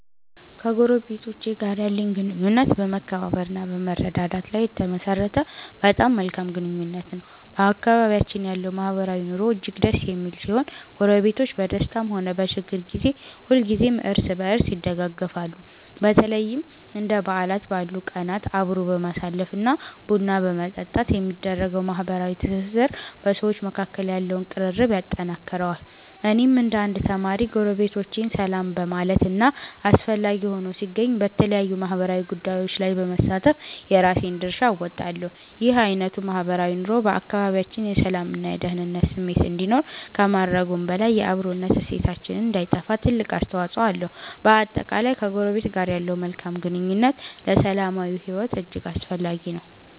ከጎረቤቶቼ ጋር ያለኝ ግንኙነት በመከባበር እና በመረዳዳት ላይ የተመሠረተ በጣም መልካም ግንኙነት ነው። በአካባቢያችን ያለው ማህበራዊ ኑሮ እጅግ ደስ የሚል ሲሆን፣ ጎረቤቶች በደስታም ሆነ በችግር ጊዜ ሁልጊዜም እርስ በርስ ይደጋገፋሉ። በተለይም እንደ በዓላት ባሉ ቀናት አብሮ በማሳለፍ እና ቡና በመጠጣት የሚደረገው ማህበራዊ ትስስር በሰዎች መካከል ያለውን ቅርርብ ያጠነክረዋል። እኔም እንደ አንድ ተማሪ፣ ጎረቤቶቼን ሰላም በማለት እና አስፈላጊ ሆኖ ሲገኝ በተለያዩ ማህበራዊ ጉዳዮች ላይ በመሳተፍ የራሴን ድርሻ እወጣለሁ። ይህ አይነቱ ማህበራዊ ኑሮ በአካባቢያችን የሰላም እና የደኅንነት ስሜት እንዲኖር ከማድረጉም በላይ፣ የአብሮነት እሴታችን እንዳይጠፋ ትልቅ አስተዋፅኦ አለው። በአጠቃላይ፣ ከጎረቤት ጋር ያለው መልካም ግንኙነት ለሰላማዊ ሕይወት እጅግ አስፈላጊ ነው።